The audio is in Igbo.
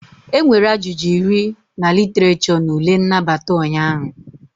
Enwere ajụjụ iri na Literature na ule nnabata ụnyaahụ